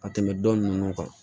Ka tɛmɛ dɔn ninnu kan